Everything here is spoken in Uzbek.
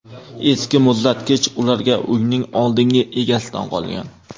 Eski muzlatkich ularga uyning oldingi egasidan qolgan.